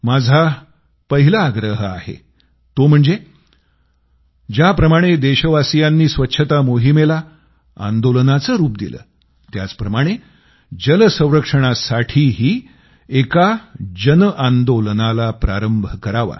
माझा पहिला आग्रह असणार आहे तो म्हणजे ज्याप्रमाणे देशवासियांनी स्वच्छता मोहिमेला आंदोलनाचं रूप दिलं त्याचप्रमाणे जल संरक्षणासाठीही एका जनआंदोलनाला प्रारंभ करावा